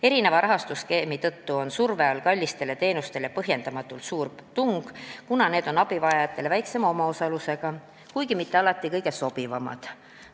Erineva rahastusskeemi tõttu on surve all kallid teenused, nende saamiseks on põhjendamatult suur tung, kuna nende puhul on abivajaja omaosalus väiksem, kuigi nad ei ole mitte alati kõige sobivamad.